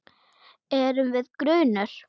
Erum við grunuð?